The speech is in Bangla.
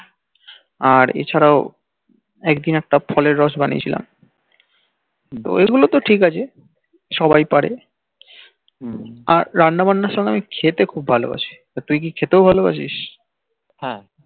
আর এছাড়াও একদিন একটা ফলের রস বানিয়েছিলাম এইগুল তো ঠিক আছে সবাই পারে রান্না বান্নার সমই আমি খেতেও খুব ভালবাসি আর তুই কি খেতে ভালবাসিস হেঁ